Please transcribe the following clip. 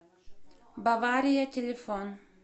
бавария телефон